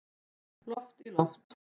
Loft í loft